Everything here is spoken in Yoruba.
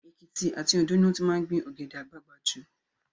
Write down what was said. Èkìtì àti Òndó ni wọ́n ti máa ń gbin Ọ̀gẹ̀dẹ̀ àgbagbà jù